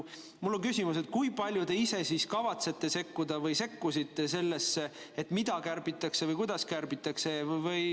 Mul on küsimus: kui palju te ise kavatsete sekkuda või sekkusite sellesse, mida kärbitakse ja kuidas kärbitakse?